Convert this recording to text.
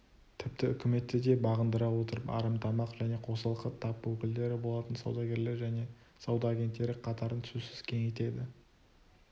тіпті үкіметті де бағындыра отырып арамтамақ және қосалқы тап өкілдері болатын саудагерлер және сауда агенттері қатарын сөзсіз кеңейтеді